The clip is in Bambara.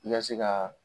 I ka se ka